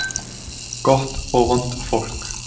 Gott og vont fólk